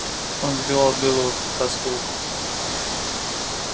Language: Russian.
он сбивал белого клыка с толку